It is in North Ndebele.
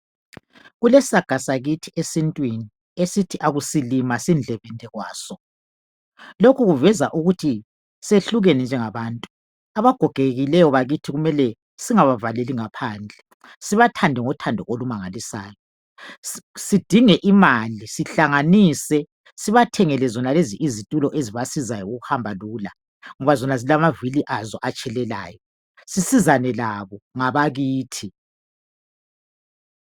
Kulesaga sakithi esintwini esithi akusilima sindlebende kwaso lokhu kuveza ukut siyehlukene singabantu abagogekileyo kumele singabavaleli ngaphandle sibathande ngothando olumangalisayo sidinge imali sihlanganise sibathebgele zonalezi izithulo ezibasiza ukuhamba lula ngoba zilamavili atshilelayo sisizane labo ngabakithi